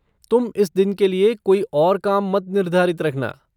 तुम इस दिन के लिए कोई और काम मत निर्धारित रखना।